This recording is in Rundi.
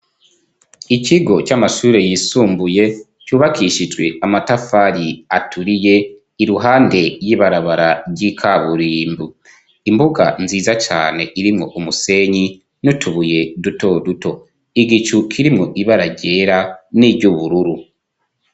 Ikigo c'amashuri yisumbuye cubakishijwe amatafari aturiye iruhande y'ibarabara ry'ikaburimbu, imbuga nziza cane irimwo umusenyi n'utubuye duto duto igicu kirimwo ibara ryera n'iryubururu.